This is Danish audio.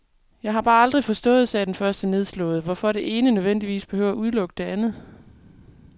Jeg har bare aldrig forstået, sagde den første nedslået, hvorfor det ene nødvendigvis behøver at udelukke det andet.